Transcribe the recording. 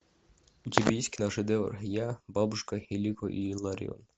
у тебя есть киношедевр я бабушка илико и илларион